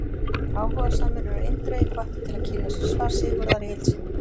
Áhugasamir eru eindregið hvattir til að kynna sér svar Sigurðar í heild sinni.